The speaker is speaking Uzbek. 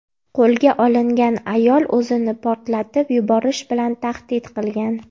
Qo‘lga olingan ayol o‘zini portlatib yuborish bilan tahdid qilgan.